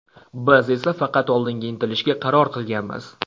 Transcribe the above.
Biz esa faqat oldinga intilishga qaror qilganmiz.